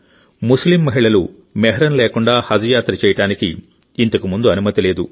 ముస్లిం మహిళలు మెహ్రం లేకుండా హజ్ యాత్ర చేయడానికి ఇంతకుముందు అనుమతి లేదు